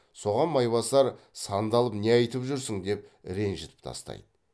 соған майбасар сандалып не айтып жүрсің деп ренжітіп тастайды